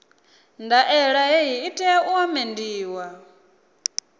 ndaela hei i tea u amendiwa